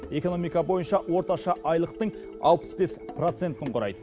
экономика бойынша орташа айлықтың алпыс бес процентін құрайды